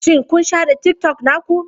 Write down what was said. Shin kun share TikTok naku?